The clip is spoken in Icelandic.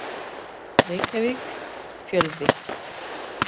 Reykjavík: Fjölvi.